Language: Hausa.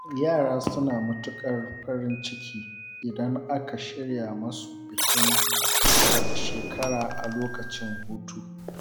Yara suna matukar farin ciki idan aka shirya musu bikin cika shekara a lokacin hutu.